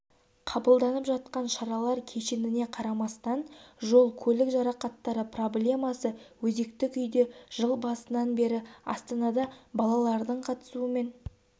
қабылданып жатқан шаралар кешеніне қарамастан жол-көлік жарақаттары проблемасы өзекті күйде жыл басынан бері астанада балалардың қатысуымен